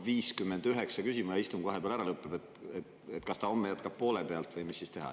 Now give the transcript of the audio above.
]59 küsima ja istung vahepeal ära lõpeb, kas ta homme jätkab poole pealt või mis siis teha.